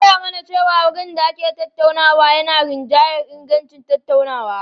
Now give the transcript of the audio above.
An koya mana cewa wurin da ake tattaunawa yana rinjayar ingancin tattaunawa.